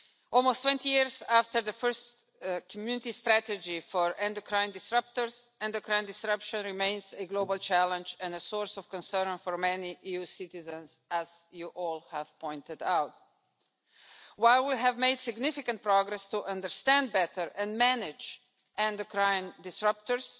Almost 20 years after the first Community strategy for endocrine disruptors, endocrine disruption remains a global challenge and a source of concern for many EU citizens, as you have all pointed out. While we have made significant progress to understand better and manage endocrine disruptors,